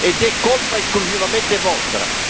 Ed è colpa esclusivamente vostra.